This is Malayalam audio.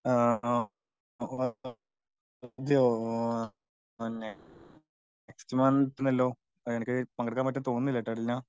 ആ നെക്സ്റ്റ് മന്ത് ഉണ്ടല്ലോ എനിക്ക് പങ്കെടുക്കാൻ പറ്റുമെന്ന് തോന്നുന്നില്ലാട്ടാ ദിൽന